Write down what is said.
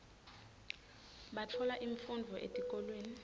batfola imfundvo etikolweni